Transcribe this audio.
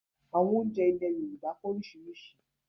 Àwọn oúnjẹ ilẹ̀ Yorùbá pé oríṣiríṣi